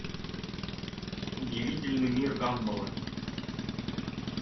удивительный мир гамбола